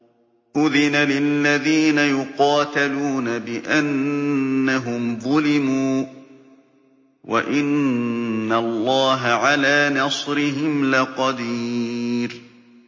أُذِنَ لِلَّذِينَ يُقَاتَلُونَ بِأَنَّهُمْ ظُلِمُوا ۚ وَإِنَّ اللَّهَ عَلَىٰ نَصْرِهِمْ لَقَدِيرٌ